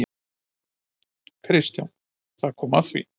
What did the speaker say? KRISTJÁN: Þar kom að því!